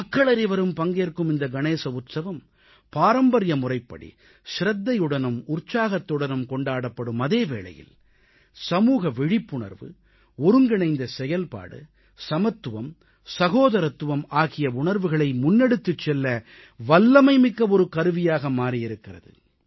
மக்களனைவரும் பங்கேற்கும் இந்த கணேச உற்சவம் பாரம்பரிய முறைப்படி சிரத்தையுடனும் உற்சாகத்துடனும் கொண்டாடப்படும் அதே வேளையில் சமூக விழிப்புணர்வு ஒருங்கிணைந்த செயல்பாடு சமத்துவம் சகோதரத்துவம் ஆகிய உணர்வுகளை முன்னெடுத்துச் செல்ல இது வல்லமைமிக்க ஒரு கருவியாக மாறியிருக்கிறது